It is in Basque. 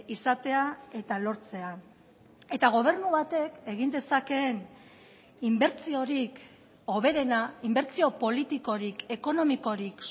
izatea eta lortzea eta gobernu batek egin dezakeen inbertsiorik hoberena inbertsio politikorik ekonomikorik